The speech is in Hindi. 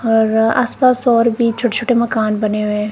और आसपास और भी छोटे छोटे मकान बने हुए है।